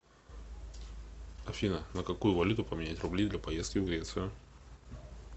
афина на какую валюту поменять рубли для поездки в грецию